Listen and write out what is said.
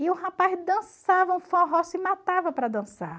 E o rapaz dançava, um forró se matava para dançar.